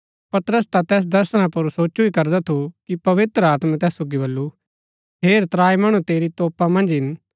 पतरस ता तैस दर्शना पुर सोचु ही करदा थु कि पवित्र आत्मै तैस सोगी बल्लू हेर त्राई मणु तेरी तोपा मन्ज हिन